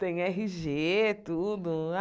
Tem erRe Ge, tudo.